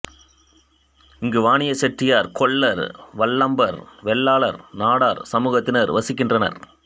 இங்கு வாணியசெட்டியார் கொல்லர் வல்லம்பர் வெள்ளாளர் நாடார் சமூகத்தினர் வசிக்கின்றனர்